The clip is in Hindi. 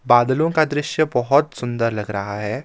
बादलों का दृश्य बहोत सुंदर लग रहा है।